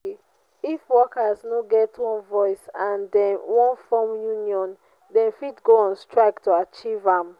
if workers no get one voice and them won form union them fit go on strike to achieve am